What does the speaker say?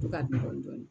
To ka dun dɔɔnin dɔɔnin